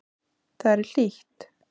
Þar er hlýtt.